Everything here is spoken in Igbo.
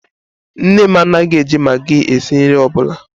Nne m anaghị e ji Magi esi nri ọbụla